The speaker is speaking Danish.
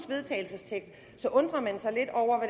vedtagelse undrer man sig lidt over